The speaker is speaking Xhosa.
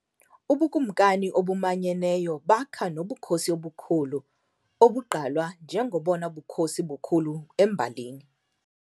Ubukumkani obumanyeneyo bakha nobukhosi obukhulu, obugqalwa njengobona bukhosi bukhulu embalini.